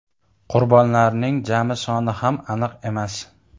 Qurbonlarning jami soni ham aniq emas.